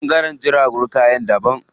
Ɓangaren jiragun kaya daban.